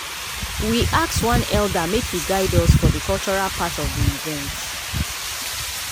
we ask one elder make e guide us for dey cultural part of dey event.